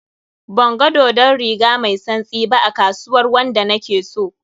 Banga dodon riga mai tsantsi ba a kasuwar wanda na ke so.